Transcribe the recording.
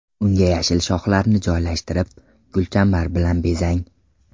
Unga yashil shoxlarni joylashtirib, gulchambar bilan bezang.